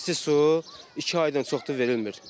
Yəni isti su iki aydan çoxdur verilmir.